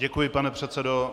Děkuji, pane předsedo.